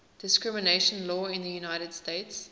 discrimination law in the united states